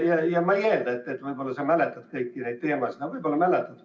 Ma ei eelda, et sa mäletad kõiki neid teemasid, aga võib-olla mäletad.